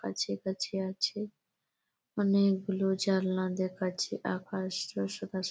কাছাকাছি আছে অনেকগুলো জানলা দেখাচ্ছে আকাশটা সাদা স--